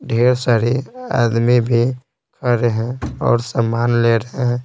ढेर सारी आदमी भी आ रहे हैं और सामान ले रहे हैं।